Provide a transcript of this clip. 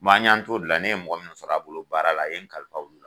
an yan t'o la n ye mɔgɔ munnu sɔrɔ a bolo baara la a ye kalifaw olu la?